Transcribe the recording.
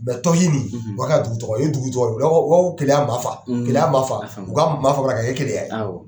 Mɛ tɔhi ni , o y'a ka dugu tɔgɔ ye, o ye dugu tɔgɔ ye, o b'a fɔ o b'a fɔ Keleya Maafa, , Keleya Maafa , o ka Maafa bɔ a la k'a kɛ Keleya ye, awɔ